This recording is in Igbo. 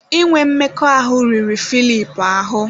Inwe mmekọahụ riri Filip ahụ́.